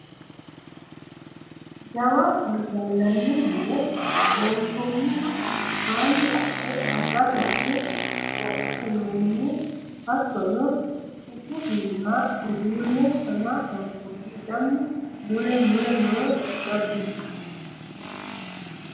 Jawa gallani mine loonsonniha albaani qole xaratenni roqinonni hattono isi iima uduune shama hangonni lamu mule mule no jajjabbu mini.